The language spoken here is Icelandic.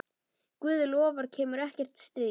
Guð lofar kemur ekkert stríð.